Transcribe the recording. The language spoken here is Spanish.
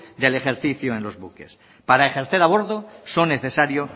del ejercicio en los buques para ejercer a bordo son necesarios